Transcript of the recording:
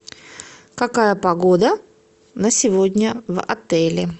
какая погода на сегодня в отеле